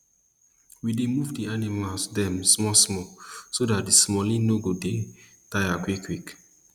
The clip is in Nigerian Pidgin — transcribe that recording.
we dey move d animal dem small small so dat d smallie nor go dey tire quick quick